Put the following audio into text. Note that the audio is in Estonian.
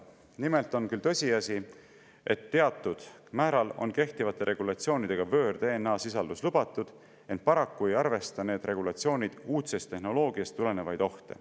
Nimelt on küll tõsiasi, et kehtivate regulatsioonide kohaselt on teatud määral võõr-DNA sisaldus lubatud, ent paraku ei arvesta need regulatsioonid uudsest tehnoloogiast tulenevaid ohte.